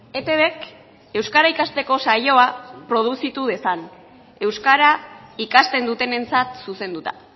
etbk euskara ikasteko saioa produzitu dezan euskara ikasten dutenentzat zuzenduta